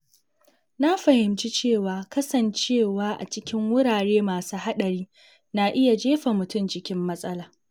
Na fahimci cewa kasancewa a cikin wurare masu haɗari na iya jefa mutum cikin matsala.